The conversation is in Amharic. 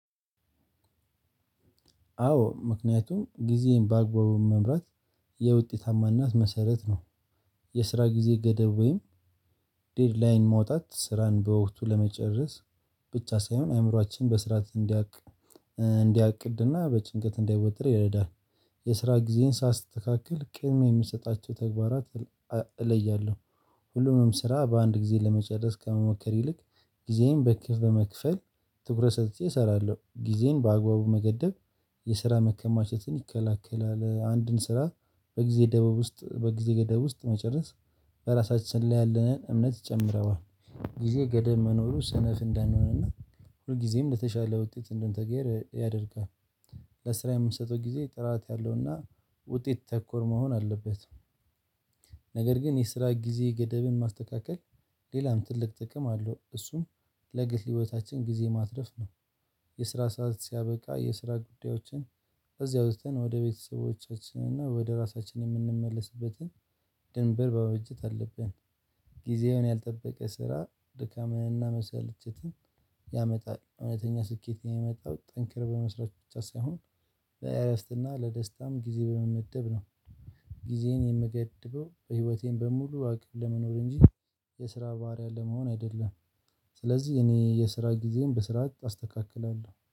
አዎ ምክንያቱም ጊዜን በአግባቡ መምራት የውጤታማነት መሰረት ነው። የስራ ጊዜ ገደብ ወይም ዴድላይን መውጣት ስራን በወቅቱ ለመጨረስ ብቻ ሳይሆን አእምሮአችን በስርዓት እንዲያቅ እንዲያቅድና በጭንቀት እንዳይወጥር ይረዳል። የስራ ጊዜን ሳስተካክል ቅድምያ የምሰጣቸው ተግባራት እለያለሁ። ሁሉንም ስራ በአንድ ጊዜ ለመጨረስ ከመሞከር ይልቅ ጊዜን በመክፈል ትኩረት ሰጥቼ እሰራለሁ። ጊዜን በአግባቡ መገደብ የስራ መከማቸትን ይከላከላል። አንድን ስራ በጊዜ ደበብ ውስጥ በጊዜ ገደብ ውስጥ መጨረስ በራሳችን ላይ ያለንን እምነት ይጨምረዋል። ጊዜ ገደብ መኖሩ ስነፍ እንዳንሆንና እና ሁል ጊዜም ለተሻለ ውጤት እንድንተጋ ያደርጋል። ለስራ የምንሰጠው ጊዜ ጥራት ያለውና ውጤት ተኮር መሆን አለበት። ነገር ግን የስራ ጊዜ ገደብን ማስተካከል ሌላም ትልቅ ጥቅም አለው። እሱም ለግል ህይወታችን ጊዜ ማትረፍ ነው። የስራ ሰዓት ሲያበቃ የስራ ጉዳዮችን እዚያ ወጥተን ወደ ቤተሰቦቻችን እና ወደ ራሳችን የምንመለስበትን በበጀት አለብን። ጊዜውን ያልጠበቀ ስራ ድካምንና መሰለቸትን ያመጣል። እውነተኛ ስኬት የሚመጣው ጠንክሮ በመስራት ብቻ ሳይሆን ለእረፍት ና ለደስታም ጊዜ በመመደብ ነው። ጊዜን የምገድበው በህይወቴን በሙሉ አቅም ለመኖር እንጂ የስራ ባሪያ ለመሆን አይደለም። ስለዚህ እኔ የስራ ጊዜም በስርዓት አስተካክላለሁ